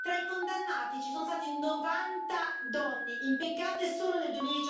Tra i condannati ci sono state 90 donne, impiccate solo nel